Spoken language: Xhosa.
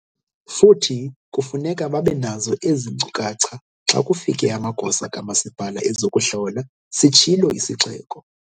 "Futhi kufuneka babe nazo ezi nkcukacha xa kufike amagosa kamasipala ezokuhlola," sitshilo isixeko.